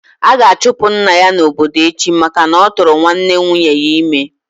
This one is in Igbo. A ga-achụpụ nna ya n'obodo echi maka na-oturu nwanne nwunye ya ime